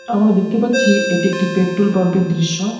আমরা দেখতে পাচ্ছি এটি একটি পেট্রোল পাম্প -এর দৃশ্য।